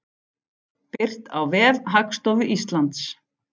Birt á vef Hagstofu Íslands.